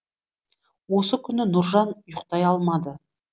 осы күні нұржан ұйқтай алмады